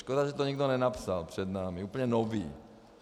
Škoda, že to nikdo nenapsal před námi, úplně nový.